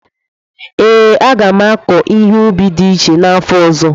ee, a ga m akọ ihe ubi dị iche n'afọ ọzọ.